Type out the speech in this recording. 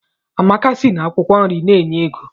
Amaka sị na akwụkwọ nri na-enye ego.